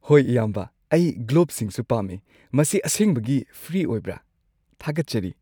ꯍꯣꯏ ꯏꯌꯥꯝꯕ, ꯑꯩ ꯒ꯭ꯂꯣꯚꯁꯤꯡꯁꯨ ꯄꯥꯝꯃꯤ꯫ ꯃꯁꯤ ꯑꯁꯦꯡꯕꯒꯤ ꯐ꯭ꯔꯤ ꯑꯣꯏꯕ꯭ꯔꯥ? ꯊꯥꯒꯠꯆꯔꯤ!